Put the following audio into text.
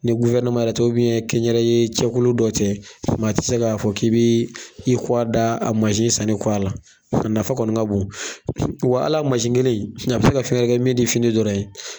Ni yɛrɛ tɛ kɛ n yɛrɛ ye cɛkulu dɔ tɛ, maa tɛ se k'a fɔ k'i bii i kɔwa da a masi sanni kɔ a la. A nafa kɔni ka bon wa al'a masi kelen a bɛ se ka fɛn wɛrɛ kɛ min te fini dɔrɔn ye.